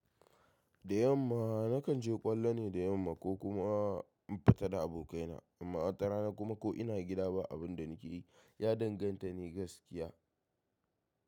Da yamma nakan je ƙwallo ne da yamma ko kuma in fita da abokaina, amma watarana kuma ko ina gida ba, abin da nake yi ya danganta ne gaskiya.